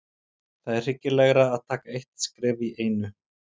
Það er hyggilegra að taka eitt skref í einu.